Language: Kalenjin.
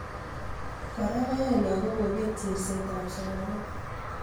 Kora koyai lagok kobeet chersetab somanet